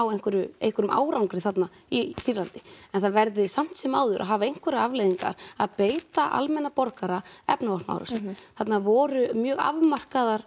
einhverjum einhverjum árangri þarna í Sýrlandi en það verði samt sem áður að hafa einhverjar afleiðingar að beita almenna borgara efnavopnaárásum þarna voru mjög afmarkaðar